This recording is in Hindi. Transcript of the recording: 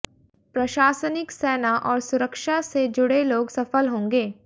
प्रशासनिक सेना और सुरक्षा से जुड़े लोग सफल होंगे